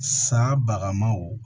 Sa bagaw